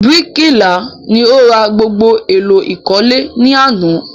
Bíríkìlà ni o ra gbogbo èlò ìkọ́lé ní àná